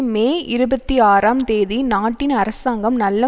மே இருபத்தி ஆறாம் தேதி நாட்டின் அரசாங்கம் நல்ல